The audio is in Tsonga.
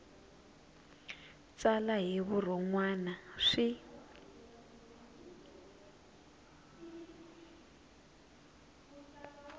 tsala hi vurhon wana swi